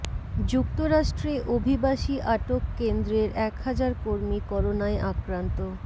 যুক্তরাষ্ট্রে অভিবাসী আটক কেন্দ্রের এক হাজার কর্মী করোনায় আক্রান্ত